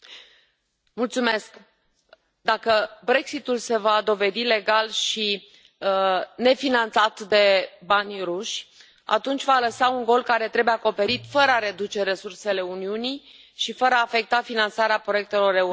Domnule președinte, dacă Brexitul se va dovedi legal și nefinanțat de banii rusești, atunci va lăsa un gol care trebuie acoperit fără a reduce resursele Uniunii și fără a afecta finanțarea proiectelor europene.